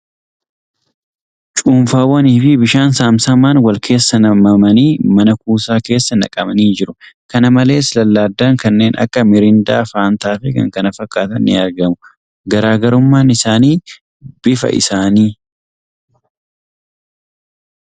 Cuunfaawwan fi bishaan saamsamaan wal keessa nammmanii man-kuusaa keessa naqamanii jiru. Kana malees , lallaadaan kanneen akka miiriindaa, Fantaa fi kan kana fakkaatu ni argamu. Garaagarummaan isaanii bifa isaanii .